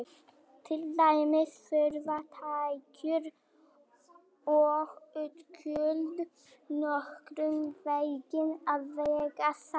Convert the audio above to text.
Til dæmis þurfa tekjur og útgjöld nokkurn veginn að vega salt.